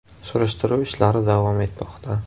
Surishtiruv ishlari davom etmoqda.